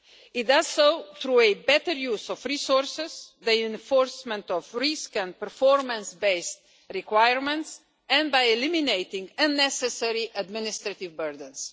It does so through a better use of resources, the enforcement of risk and performance based requirements, and by eliminating unnecessary administrative burdens.